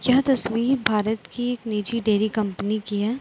यह तस्वीर भारत की एक निजी डेरी कंपनी की है।